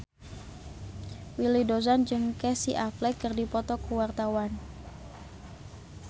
Willy Dozan jeung Casey Affleck keur dipoto ku wartawan